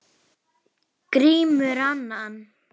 Grímur annan.